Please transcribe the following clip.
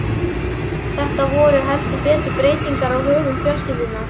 Þetta voru heldur betur breytingar á högum fjölskyldunnar.